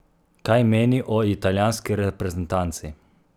Kaj meni o italijanski reprezentanci?